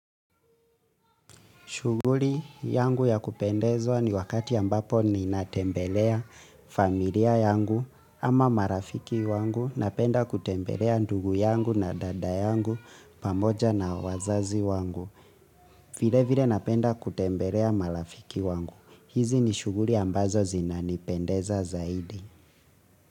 Shughuli yangu ya kupendezwa ni wakati ambapo ninatembelea familia yangu ama marafiki wangu. Napenda kutembelea ndugu yangu na dada yangu pamoja na wazazi wangu. Vile vile napenda kutembelea marafiki wangu. Hizi ni shughuli ambazo zinanipendeza zaidi.